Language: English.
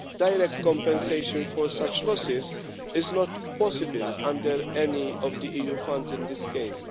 Direct compensation for such losses is not possible under any of the EU funds in this case.